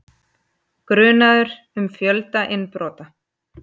Grunaður um fjölda innbrota